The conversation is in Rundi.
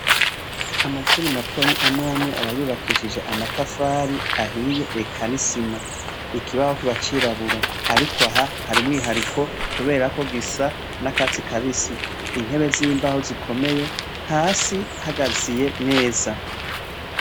Amashure matoyi amwamwe aba yubakishije amatafari ahiye, eka n'isima, ikibaho kiba c'irabura, ariko aha hari umwihariko hasi gisa n'akatsi kabisi intebe zimbaho zikomeye hasi hagaziye neza.